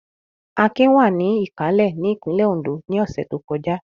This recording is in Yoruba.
Akin wà ní Ìkálẹ̀ ní ìpínlẹ̀ Oǹdó ní ọ̀sẹ̀ tó kọjá.